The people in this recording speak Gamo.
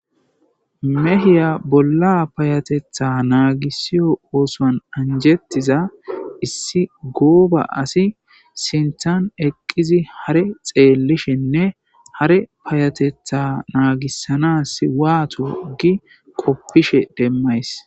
Mehiya bolla payatetha naagissiyo oosoan anjettiza issi gooba asi sinthan eqqizi hare xeellishinne hare payatetha naagissana swaato gi qoppishe demmays.